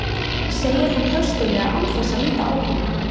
segir hann höstuglega án þess að líta á hana.